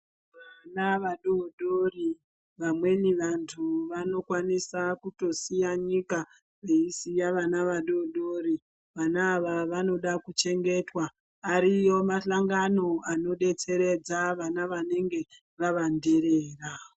Vana vadodori vamweni vantu vanokwanisa kutosiya nyika veisiya vana vadodori vana ava vanoda kuchengeta ariyo mahlangano anodetseredza vana vanenge vava nderera.